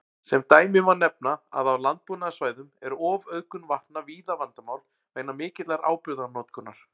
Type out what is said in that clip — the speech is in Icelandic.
Sem dæmi má nefna að á landbúnaðarsvæðum er ofauðgun vatna víða vandamál vegna mikillar áburðarnotkunar.